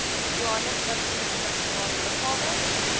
johannesburgse internasionale lughawe